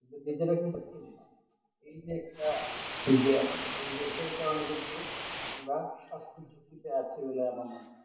কিন্তু নিজেরা কিন্তু খেলি না এই যে একটা কিন্তু আমরা সাস্থের জাতিতে আছি বলে আমার মনে হয়